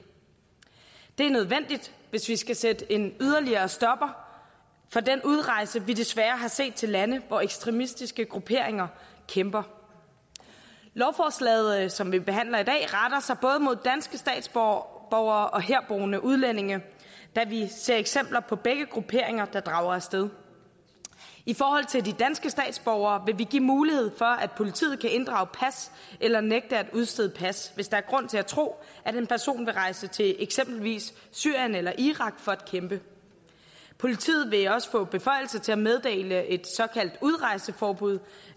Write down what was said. det er nødvendigt hvis vi skal sætte en yderligere stopper for den udrejse vi desværre har set til lande hvor ekstremistiske grupperinger kæmper lovforslaget som vi behandler i dag retter sig både mod danske statsborgere og herboende udlændinge da vi ser eksempler på begge grupperinger der drager af sted i forhold til de danske statsborgere vil vi give mulighed for at politiet kan inddrage pas eller nægte at udstede pas hvis der er grund til at tro at en person vil rejse til eksempelvis syrien eller irak for at kæmpe politiet vil også få beføjelser til at meddele et såkaldt udrejseforbud